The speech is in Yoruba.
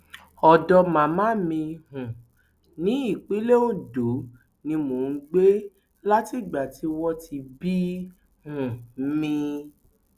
ọdọ màmá mi um nípínlẹ ondo ni mò ń gbé látìgbà tí wọn ti bí um mi